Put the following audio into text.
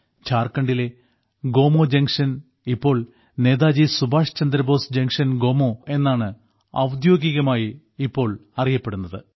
ഝാർഖണ്ഡിലെ ഗോമോ ജംഗ്ഷൻ ഇപ്പോൾ നേതാജി സുഭാഷ്ചന്ദ്രബോസ് ജംഗ്ഷൻ ഗോമോ എന്നാണ് ഔദ്യോഗികമായി ഇപ്പോൾ അറിയപ്പെടുന്നത്